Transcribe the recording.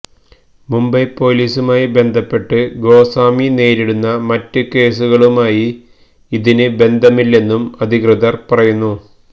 മുംബൈ പൊലീസുമായി ബന്ധപ്പെട്ട് ഗോസ്വാമി നേരിടുന്ന മറ്റ്കേസുകളുമായി ഇതിന് ബന്ധമില്ലെന്നും അധികൃതർപറയുന്നു